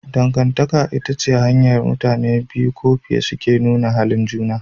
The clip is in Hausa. Dangantaka ita ce hanyar da mutane biyu ko fiye suke nuna halin juna.